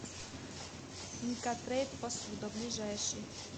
инкотрейд посуда ближайший